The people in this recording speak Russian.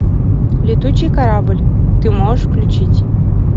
летучий корабль ты можешь включить